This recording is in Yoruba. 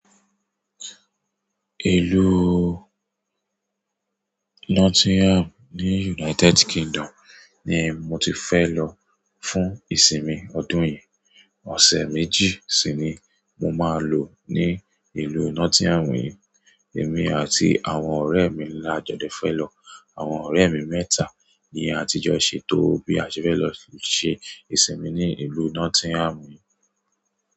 Ìlú Nottingham ni United Kingdom ni mo ti fe lo fún ìsinmi ni ọdún yi ọ̀sẹ̀ méjì si ni mo máa lò ní ìlú Nottingham yí. Èmi àti àwọn ọ̀rẹ́ mi lá dẹ fẹ́ jo lọ. Àwọn ọ̀rẹ́ mi mẹ́ta ni a ti jọ ṣètò bí a ṣe fẹ́ lọ ṣe ìsinmi ní ìlú Nottingham yí.